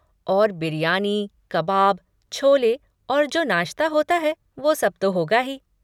और बिरयानी, कबाब, छोले और जो नाश्ता होता है वो सब तो होगा ही।